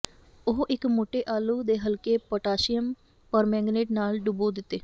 ਉਹ ਇੱਕ ਮੋਟੇ ਆਲੂ ਦੇ ਹਲਕੇ ਪੋਟਾਸ਼ੀਅਮ ਪਰਮੇਂਗਨੇਟ ਨਾਲ ਡੁਬੋ ਦਿੱਤੇ